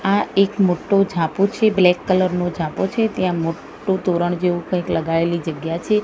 આ એક મોટ્ટો ઝાપો છે બ્લેક કલર નો ઝાપો છે ત્યાં મોટ્ટુ તોરણ જેવુ કંઈક લગાઇલી જગ્યા છે.